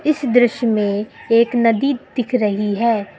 इस दृश्य में एक नदी दिख रही है।